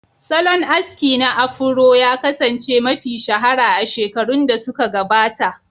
Salon aski na Afuro ya kasance mafi shahara a shekarun da suka gabata.